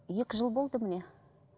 екі жыл болды міне